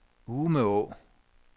Umeå